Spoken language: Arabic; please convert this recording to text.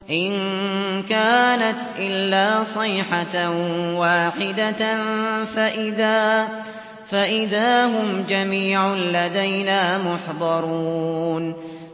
إِن كَانَتْ إِلَّا صَيْحَةً وَاحِدَةً فَإِذَا هُمْ جَمِيعٌ لَّدَيْنَا مُحْضَرُونَ